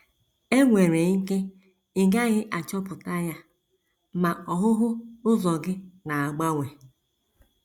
E nwere ike ị gaghị achọpụta ya, ma ọhụhụ ụzọ gị na - agbanwe.